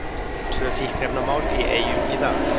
Tvö fíkniefnamál í Eyjum í dag